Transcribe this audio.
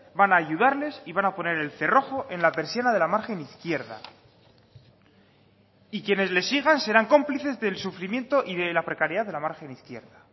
van a ayudarles y van a poner el cerrojo en la persiana de la margen izquierda y quienes le sigan serán cómplices del sufrimiento y de la precariedad de la margen izquierda